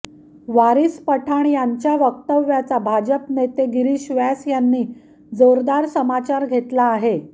वारिस पठाण यांच्या वक्तव्याचा भाजप नेते गिरीश व्यास यांनी जोरदार समचार घेतला आहे